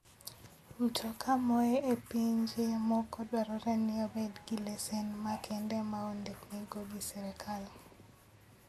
Mtoka moa e pinje moko dwarore ni obed gi lesen makende ma ondikgi go gi sirkal.